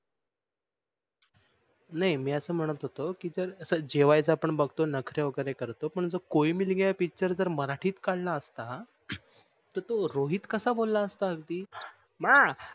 नाही मी अस म्होणत होतो कि जर जेवायचं आपण बघतो नखरे वगेरे करतो पण कोई मिल गया पिचर जर मराठीत काढला असता तर तो रोहित कस अ बोलाला असता अगदी मा